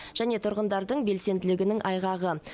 және тұрғындардың белсенділігінің айғағы